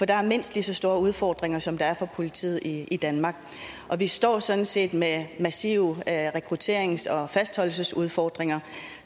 der mindst lige så store udfordringer som der er for politiet i i danmark og vi står sådan set med massive rekrutterings og og fastholdelsesudfordringer